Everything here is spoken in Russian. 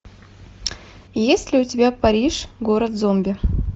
есть ли у тебя париж город зомби